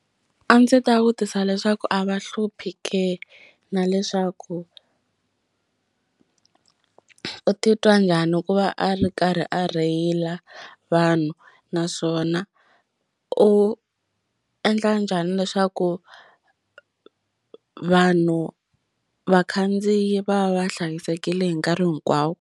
A ndzi ta vutisa leswaku a va hluphi ka na leswaku u titwa njhani ku va a ri karhi a rheyila vanhu naswona u endla njhani leswaku vanhu vakhandziyi va va hlayisekile hi nkarhi hinkwawo.